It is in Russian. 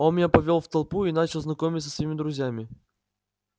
он меня повёл в толпу и начал знакомить со своими друзьями